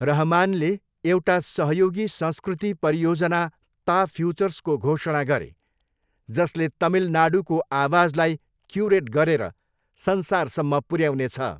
रहमानले एउटा सहयोगी संस्कृति परियोजना ता फ्युचर्सको घोषणा गरे, जसले तमिलनाडूको आवाजलाई क्युरेट गरेर संसारसम्म पुऱ्याउनेछ।